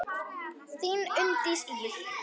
Þín Unndís Ýr.